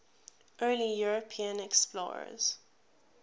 early european explorers